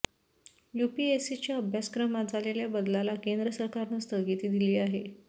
यूपीएसीच्या अभ्यासक्रमात झालेल्या बदलाला केंद्र सरकारनं स्थगिती दिली आहे